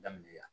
Daminɛ yan